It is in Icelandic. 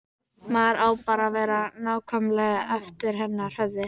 Maður á bara að vera nákvæmlega eftir hennar höfði.